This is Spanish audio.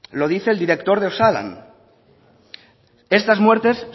lo dice el director de osalan estas muertes